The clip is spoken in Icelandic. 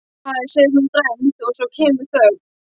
Hæ, segir hún dræmt og svo kemur þögn.